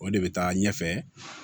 O de bɛ taa ɲɛfɛ